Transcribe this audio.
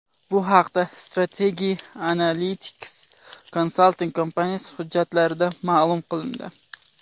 Bu haqda Strategy Analytics konsalting kompaniyasi hujjatlarida ma’lum qilindi .